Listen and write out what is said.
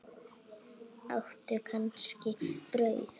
Áttu kannski brauð?